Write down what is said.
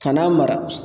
Ka n'a mara